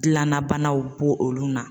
Dilanna banaw b'o olu na